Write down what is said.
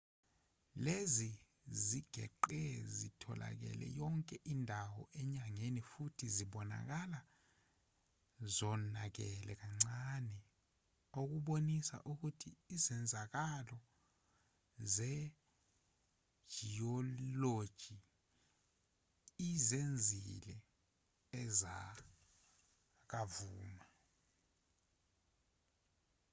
lezi zigeqe zitholakale yonke indawo enyangeni futhi zibonakala zonakele kancane okubonisa ukuthi izenzakalo zejiyoloji ezizenzile ezakamuva